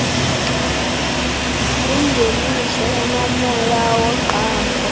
yingeniso enomoya woqambo